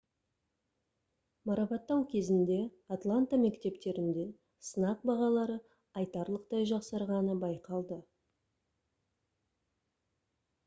марапаттау кезінде атланта мектептерінде сынақ бағалары айтарлықтай жақсарғаны байқалды